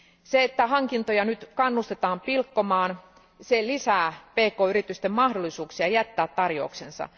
Se, että hankintoja nyt kannustetaan pilkkomaan, lisää pk yritysten mahdollisuuksia jättää tarjouksensa.